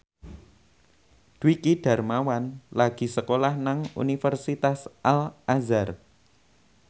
Dwiki Darmawan lagi sekolah nang Universitas Al Azhar